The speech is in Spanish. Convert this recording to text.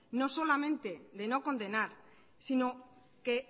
no solamente de no condenar sino que